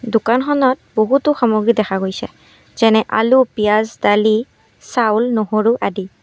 দোকানখনত বহুতো সামগ্ৰী দেখা গৈছে যেনে আলু পিঁয়াজ দালি চাউল নহৰু আদি।